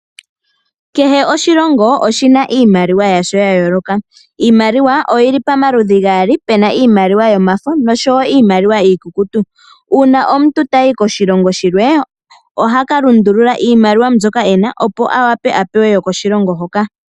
Kehe oshilongo oshina iimaliwa yasho ya yooloka. Iimaliwa oyili pamaludhi gaali puna iimaliwa yomafo oshowo iikukutu. Uuna omuntu tayi koshilongo shilwe ohaka lundulula iimaliwa mbyoka ena awape apewe yokoshilongo hoka uuka.